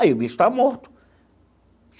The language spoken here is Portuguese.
Aí o bicho está morto.